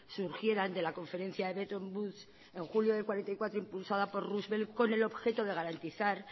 surgieran de la conferencia bretton woods en julio de mil novecientos cuarenta y cuatro impulsada por roosevelt con el objeto de garantizar